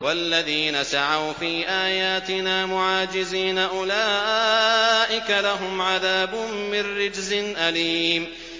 وَالَّذِينَ سَعَوْا فِي آيَاتِنَا مُعَاجِزِينَ أُولَٰئِكَ لَهُمْ عَذَابٌ مِّن رِّجْزٍ أَلِيمٌ